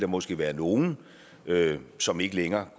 måske være nogle som ikke længere